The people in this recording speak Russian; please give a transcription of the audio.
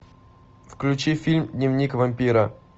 включи фильм дневник вампира